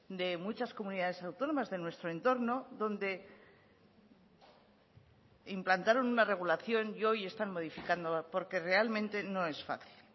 de muchas comunidades autónomas de nuestro entorno donde implantaron una regulación y hoy están modificando porque realmente no es fácil